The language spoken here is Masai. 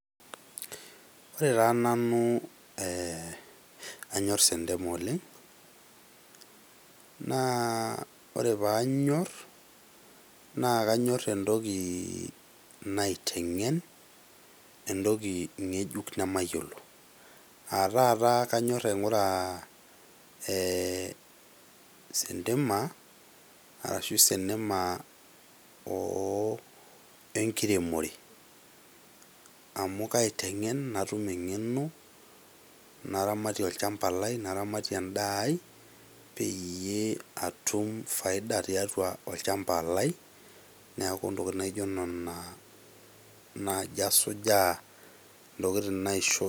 Ore taa nanu anyor sentema oleng, naa ore paanyor naa kanyor entoki naitengen, entoki ngejuk nemayiolo. Aa taata kanyor aingura sentema arashu senema oo enkiremore amu kaitengen , natum ngeno naramatie olchamba lai, naramatie , naramatie olchamba lai peyie atum faida tiatua olchamba lai, niaku ntokitin naijo nena naji asujaa ,ntokitin naisho.